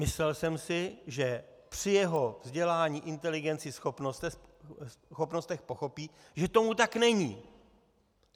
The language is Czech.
Myslel jsem si, že při jeho vzdělání, inteligenci, schopnostech pochopí, že tomu tak není.